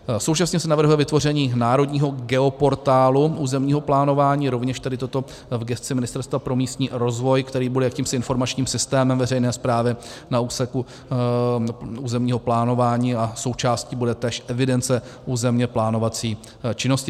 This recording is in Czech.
Současně se navrhuje vytvoření národního geoportálu územního plánování, rovněž tedy toto v gesci Ministerstva pro místní rozvoj, který bude jakýmsi informačním systémem veřejné správy na úseku územního plánování, a součástí bude též evidence územně plánovací činnosti.